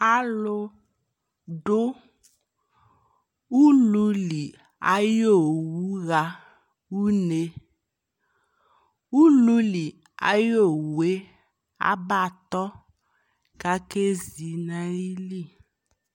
Alu duu uululi ayowu ɣa unee Uluuli ayowue abatɔ kakeʒi nayili